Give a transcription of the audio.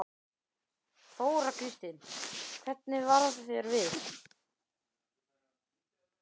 Þóra Kristín: Hvernig varð þér við?